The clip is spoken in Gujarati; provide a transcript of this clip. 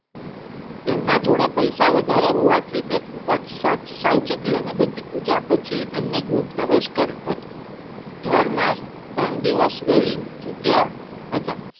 તેમના જોડે પૈસા વધારે હોવાથી તે ખુબજ સાવચેતી અને બધી પુંજા પછી એમને ગૃહ ગરોજ કરી ઘર માં ત્રણ દિવસ રહી ચૂકયા હતા.